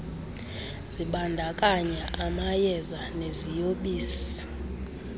zibandakanya amayeza neziyobisi